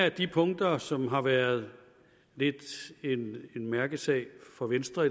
af de punkter som har været lidt en mærkesag for venstre og